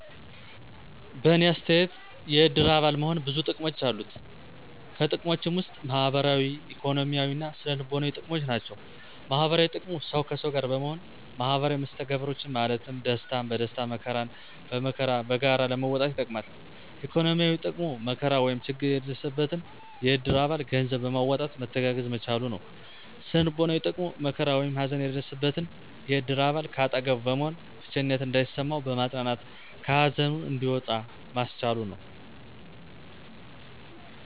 በእኔ አተያየት የእድር አባል መሆን ብዙ ጥቅሞች አሉት። ከጥቅሞችም ውስጥ ማህበራዊ፣ ኢኮኖሚያዊ እና ስነ-ልቦናዊ ጥቅሞች ናቸው። -ማህበራዊ ጥቅሙ፦ ሠው ከሠው ጋር በመሆን ማህበራዊ መስተጋብሮችን ማለትም ደስታን በደስታ መከራን በመከራ በጋራ ለመወጣት ይጠቅማል። -ኢኮኖሚያዊ፦ ጥቅሙ መከራ ወይም ችግር የደረሰበትን የእድር አባል ገንዘብ በማዋጣት መተጋገዝ መቻሉ ነው። -ስነ-ልቦናዊ ጥቅሙ፦ መከራ ወይም ሀዘን የደረሠበን የእድር አባል ከአጠገቡ በመሆን ብቸኝነት እንዳይሠማው በማፅናናት ከሀዘኑ እንዲወጣ ማስቻሉ ነው።